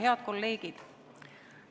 Head kolleegid!